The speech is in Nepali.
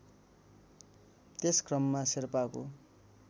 त्यस क्रममा शेर्पाको